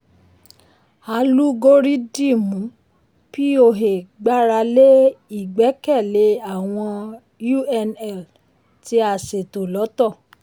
alúgórídìmù poa gbára lé ìgbẹ́kẹ̀lé àwọn unl tí a ṣètò lọ́tọ̀.